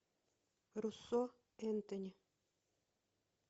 руссо энтони